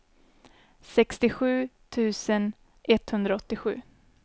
sextiosju tusen etthundraåttiosju